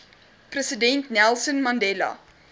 president nelson mandela